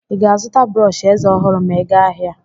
Ị ga-azụta brọsh eze ọhụrụ ma ị aga ahịa?